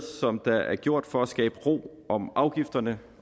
der er gjort for at skabe ro om afgifterne